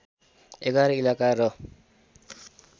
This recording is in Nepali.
११ इलाका र